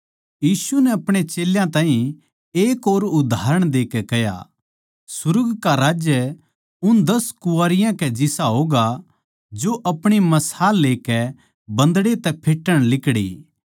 यीशु नै अपणे चेल्यां ताहीं एक और उदाहरण देकै कह्या सुर्ग का राज्य उन दस कुँवारियाँ के जिसा होगा जो अपणी मशाल लेकै बन्दड़े तै फेटण लिकड़ी